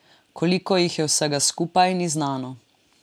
Koliko jih je vsega skupaj, ni znano.